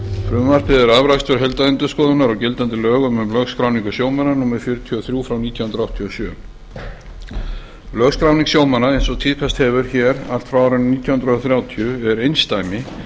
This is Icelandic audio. frumvarpið er afrakstur heildarendurskoðunar á gildandi lögum um lögskráningu sjómanna númer fjörutíu og þrjú nítján hundruð áttatíu og sjö lögskráning sjómanna eins og tíðkast hefur hér allt frá árinu nítján hundruð þrjátíu er einsdæmi